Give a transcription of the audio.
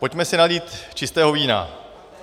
Pojďme si nalít čistého vína.